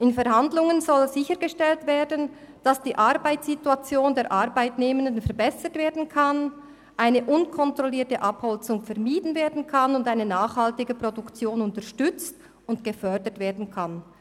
In Verhandlungen soll sichergestellt werden, dass die Arbeitssituation der Arbeitnehmenden verbessert, eine unkontrollierte Abholzung vermieden und eine nachhaltige Produktion unterstützt und gefördert werden kann.